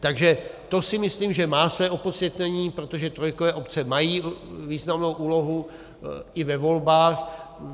Takže to si myslím, že má své opodstatnění, protože trojkové obce mají významnou úlohu i ve volbách.